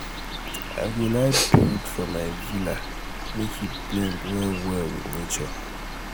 i go like build for my villa make e blend well well with nature.